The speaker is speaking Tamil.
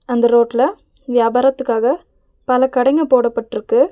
அந்த ரோட்ல வியாபாரத்துக்காக பல கடைங்க போடப்பட்ருக்கு.